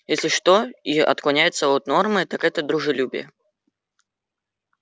если что и отклоняется от нормы так это дружелюбие